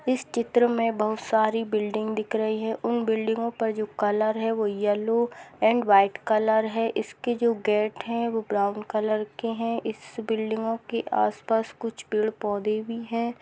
इस चित्र में बहुत सारी बिल्डिंग दिख रही है उन बिल्डिंगो पर जो कलर है व येलो एंड वाइट कलर है इसके जो गेट है वो ब्राउन कलर के है इस बिल्डिंगो के आस-पास कुछ पेड़-पौधे भी है।